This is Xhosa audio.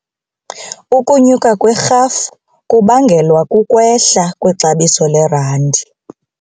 Ukunyuka kwerhafu kubangelwa kukwehla kwexabiso lerandi.